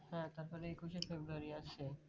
হ্যাঁ তারপরে একুশে ফেব্রুয়ারি আছে